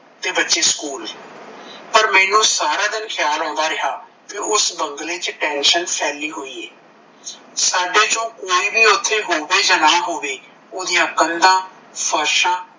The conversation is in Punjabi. ਤੇ ਬੱਚੀ school ਪਰ ਮੈਂਨੂੰ ਸਾਰਾ ਦਿਨ ਖਿਆਲ ਆਉਂਦਾ ਰਿਹਾ ਕੀ ਉਸ ਬੰਗਲੇ ਚ ਦਹਿਸ਼ਤ ਫੈਲੀ ਹੋਈ ਏ ਸਾਡੇ ਚੋਂ ਕੋਈ ਵੀ ਓਥੇ ਹੋਵੇ ਜਾ ਨਾਂ ਹੋਵੇ ਓਦੀਆ ਕੰਧਾਂ ਫਰਸ਼ਾਂ,